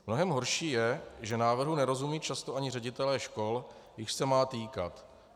Mnohem horší je, že návrhu nerozumí často ani ředitelé škol, jichž se má týkat.